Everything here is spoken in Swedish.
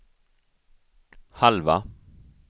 halva